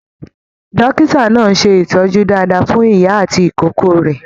Dókítà náà ṣe ìtọjú dáadáa fún ìyá àti ìkókó rẹ.